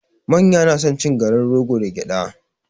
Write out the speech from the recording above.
Manya na son cin garin rogo da gyada